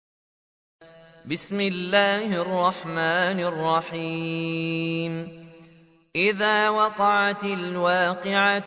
إِذَا وَقَعَتِ الْوَاقِعَةُ